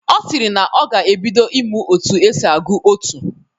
Ọ sịrị na ọ ga-ebido ịmụ otu esi agụ otú.